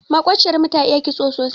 Maƙociyar mu ta iya kitso sosai.